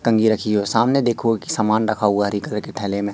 कंगी रखी है सामने देखो सामान रखा हुआ है हरि कलर की थैले में।